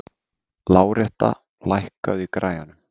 Láretta, lækkaðu í græjunum.